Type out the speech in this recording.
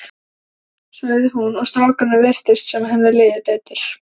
sagði hún og strákunum virtist sem henni liði betur.